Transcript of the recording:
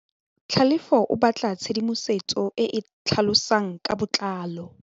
Tlhalefô o batla tshedimosetsô e e tlhalosang ka botlalô.